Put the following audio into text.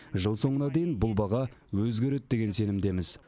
жыл соңына дейін бұл баға өзгереді деген сенімдеміз